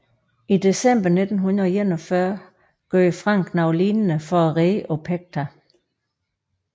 I december 1941 gjorde Frank noget lignende for at redde Opekta